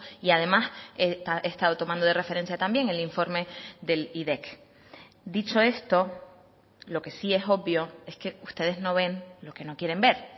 y además he estado tomando de referencia también el informe del dicho esto lo que sí es obvio es que ustedes no ven lo que no quieren ver